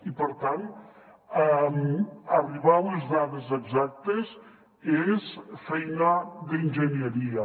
i per tant arribar a les dades exactes és feina d’enginyeria